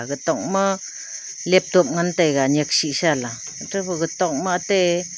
ag tok ma laptop ngan taiga nyaksisa la eto gaga tok ma ate.